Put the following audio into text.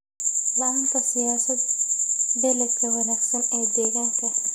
La'aanta siyaasad-beeleedka wanaagsan ee deegaanka.